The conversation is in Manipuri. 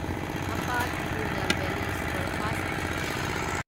Hapa Tirunelveli superfast express